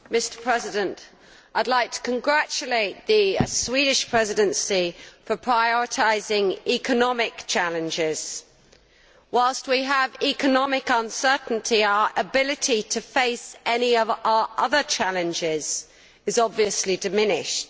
Mr President, I would like to congratulate the Swedish Presidency for prioritising economic challenges. Whilst we have economic uncertainty, our ability to face any of our other challenges is obviously diminished.